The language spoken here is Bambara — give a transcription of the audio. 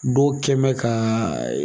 Dɔw kɛ n bɛ ka